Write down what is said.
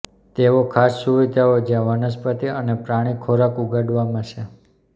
તેઓ ખાસ સુવિધાઓ જ્યાં વનસ્પતિ અને પ્રાણી ખોરાક ઉગાડવામાં છે